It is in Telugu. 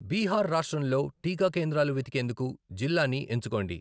బీహార్ రాష్ట్రంలో టీకా కేంద్రాలు వెతికేందుకు జిల్లాని ఎంచుకోండి